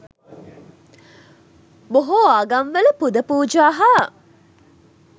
බොහෝ ආගම්වල පුද පූජා හා